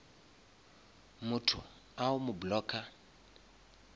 motho o a mo blocka